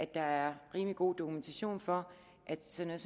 der er rimelig god dokumentation for at sådan